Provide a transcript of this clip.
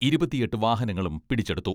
ഇരുപത്തിയെട്ട് വാഹനങ്ങളും പിടിച്ചെടുത്തു.